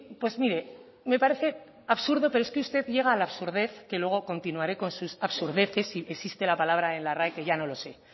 pues mire me parece absurdo pero es que usted llega a la absurdez que luego continuaré con sus absurdeces si existe la palabra en la rae que ya no lo sé